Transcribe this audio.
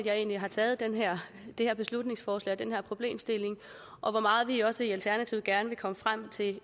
jeg egentlig har taget det her beslutningsforslag og den her problemstilling og hvor meget vi også i alternativet gerne vil nå frem til